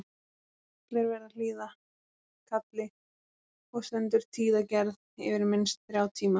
Allir verða að hlýða kalli og stendur tíðagerð yfir minnst þrjá tíma.